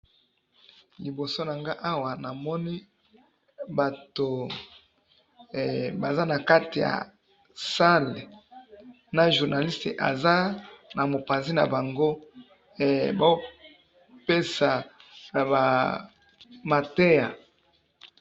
Na photo oyo na moni batu baza na salle, na journaliste na mopanzi na bango, bazo pesa mateya.